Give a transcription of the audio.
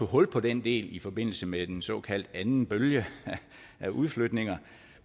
hul på den del i forbindelse med den såkaldte anden bølge af udflytninger